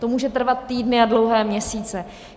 To může trvat týdny a dlouhé měsíce.